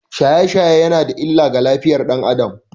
Shaye-shaye yana da illa ga lafiyar ɗan Adam